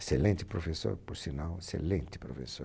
Excelente professor, por sinal, excelente professor.